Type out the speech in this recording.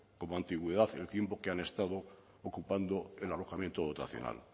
como antigüedad el tiempo que han estado ocupando el alojamiento dotacional